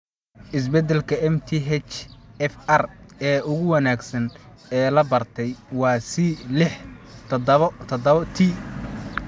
Isbedelka MTHFR ee ugu wanaagsan ee la bartay, waa C lix tadhawo tadhawo T.